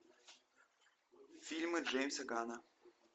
фильмы джеймса ганна